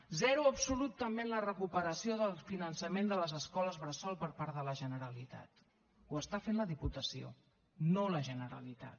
zero absolut també en la recuperació del finançament de les escoles bressol per part de la generalitat ho està fent la diputació no la generalitat